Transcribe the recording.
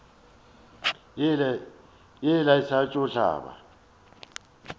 ye le sa tšo hlaba